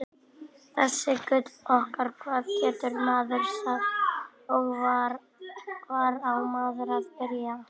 Þetta gull okkar, hvað getur maður sagt og hvar á maður að byrja?